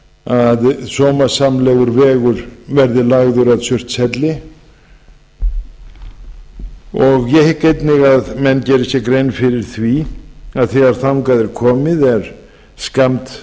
að sómasamlegur vegur verði lagður að surtshelli ég hygg einnig að menn geri sér grein fyrir því að þegar þangað er komið er skammt